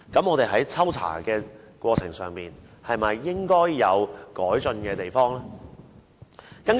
我們在抽查的過程中，是否應該有改進的地方呢？